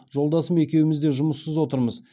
жолдасым екеуміз де жұмыссыз отырмыз